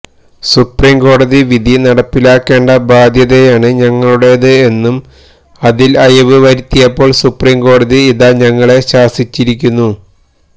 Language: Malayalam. സുപ്രീം കോടതി വിധി നടപ്പിലാക്കേണ്ട ബാധ്യതയാണ് ഞങ്ങളുടേത് എന്നും അതില് അയവ് വരുത്തിയപ്പോള് സുപ്രീം കോടതി ഇതാ ഞങ്ങളെ ശാസിച്ചിരിക്കുന്നു